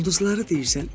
Ulduzları deyirsən.